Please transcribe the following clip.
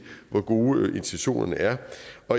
hvor gode intentionerne er